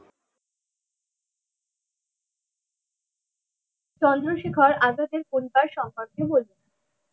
চন্দ্রশেখর আজাদের পরিবার সম্পর্কে বলুন?